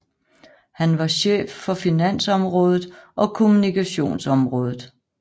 Han var chef for finansområdet og kommunikationsområdet